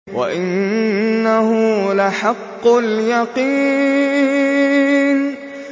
وَإِنَّهُ لَحَقُّ الْيَقِينِ